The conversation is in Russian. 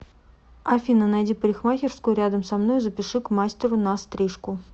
афина найди парикмахерскую рядом со мной и запиши к мастеру на стрижку